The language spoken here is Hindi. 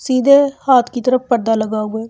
सीधे हाथ की तरफ पर्दा लगा हुए--